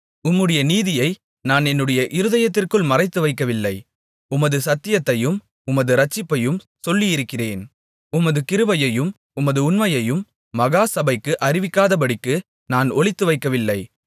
உம்முடைய நீதியை நான் என்னுடைய இருதயத்திற்குள் மறைத்து வைக்கவில்லை உமது சத்தியத்தையும் உமது இரட்சிப்பையும் சொல்லியிருக்கிறேன் உமது கிருபையையும் உமது உண்மையையும் மகா சபைக்கு அறிவிக்காதபடிக்கு நான் ஒளித்துவைக்கவில்லை